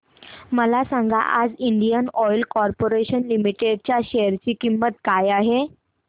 मला सांगा आज इंडियन ऑइल कॉर्पोरेशन लिमिटेड च्या शेअर ची किंमत काय आहे